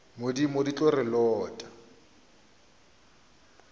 modimo di tlo re lota